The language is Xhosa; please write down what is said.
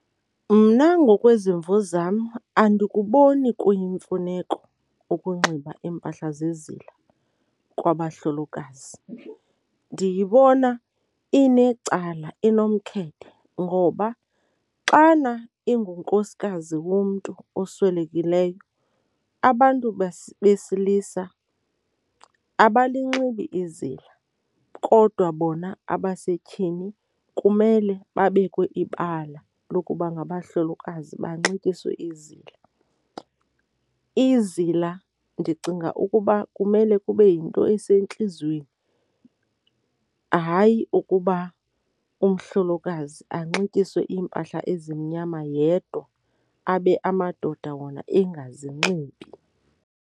Mna ngokwezimvo zam andikuboni kuyimfuneko ukunxiba iimpahla zezila kwabahlolokazi, ndiyibona inecala enomkhethe ngoba xana ingunkosikazi womntu oswelekileyo, abantu besilisa abalinxiba izila kodwa bona abasetyhini kumele babekwe ibala lokuba ngabahlolokazi banxityiswe izila. Izila ndicinga ukuba kumele kube yinto esentliziyweni, hayi ukuba umhlokazi anxityiswe iimpahla ezimnyama yedwa abe amadoda wona engazinxibi.